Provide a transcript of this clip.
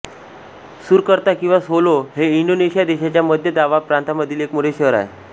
Surakarta किंवा Solo हे Indonesia देशाच्या मध्य जावा प्रांतामधील एक मोठे शहर आहे